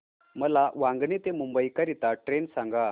मला वांगणी ते मुंबई करीता ट्रेन सांगा